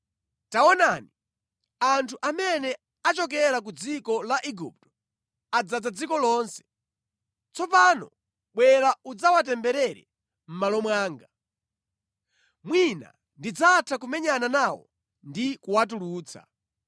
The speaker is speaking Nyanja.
‘Taonani, anthu amene achokera ku dziko la Igupto adzaza dziko lonse. Tsopano bwera udzawatemberere mʼmalo mwanga. Mwina ndidzatha kumenyana nawo ndi kuwatulutsa.’ ”